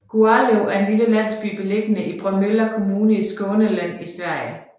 Gualöv er en lille landsby beliggende i Bromölla Kommune i Skåne län i Sverige